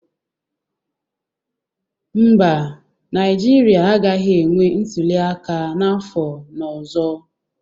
Mba, Naijiria agaghi enwe ntuliaka n'afọ n'ọzo.